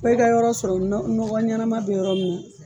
Fɔ i ka yɔrɔ sɔrɔ nɔ nɔgɔ ɲɛnama bɛ yɔrɔ min na